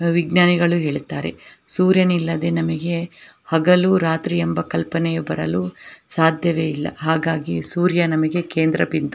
ವಿಜ್ಞಾನಿಗಳು ಹೇಳುತ್ತಾರೆ ಸೂರ್ಯನಿಲ್ಲದೆ ನಮಗೆ ಹಗಲು ರಾತ್ರಿ ಎಂಬ ಕಲ್ಪನೆಯು ಬರಲು ಸಾಧ್ಯವೇ ಇಲ್ಲಾ ಹಾಗಾಗಿ ಸೂರ್ಯ ನಮಗೆ ಕೇಂದ್ರ ಬಿಂದು.